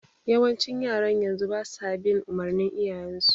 Yawancin yaran yanzu basa bin umurnin iyayen su